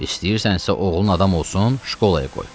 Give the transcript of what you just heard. İstəyirsənsə oğlun adam olsun, şkolaya qoy.